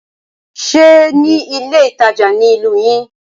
Ṣe ní ilé ìtajà ní ìlú yín?